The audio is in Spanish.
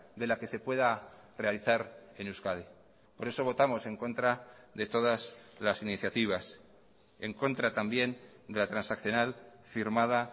de la que se pueda realizar en euskadi por eso votamos en contra de todas las iniciativas en contra también de la transaccional firmada